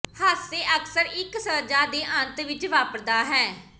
ਹਾਸੇ ਅਕਸਰ ਇੱਕ ਸਜ਼ਾ ਦੇ ਅੰਤ ਵਿੱਚ ਵਾਪਰਦਾ ਹੈ